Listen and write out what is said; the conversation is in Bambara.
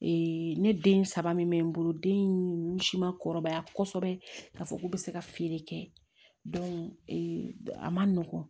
ne den saba min bɛ n bolo den in si ma kɔrɔbaya kosɛbɛ k'a fɔ k'u bɛ se ka feere kɛ a man nɔgɔn